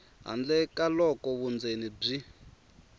handle ka loko vundzeni byi